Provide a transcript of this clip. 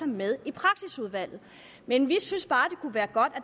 med i praksisudvalget men vi synes bare det kunne være godt